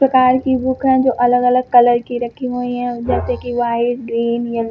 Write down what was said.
प्रकार की बुक हैं जो अलग अलग कलर की रखी हुई हैं जैसे कि व्हाइट ग्रीन येल --